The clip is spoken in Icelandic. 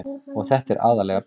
Og þetta er aðallega bið.